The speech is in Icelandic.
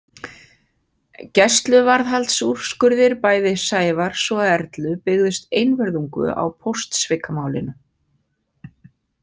Gæsluvarðhaldsúrskurðir bæði Sævars og Erlu byggðust einvörðungu á póstsvikamálinu.